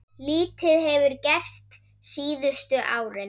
Lítið hefur gerst síðustu árin.